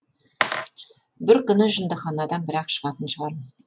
бір күні жындыханадан бір ақ шығатын шығармын